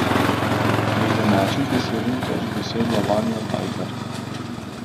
Pri domačih je sedem točk dosegla Vanja Tajher.